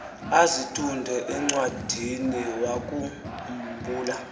azitunde encwadiniwakhu mbula